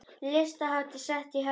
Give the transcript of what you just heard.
Listahátíð sett í Hörpu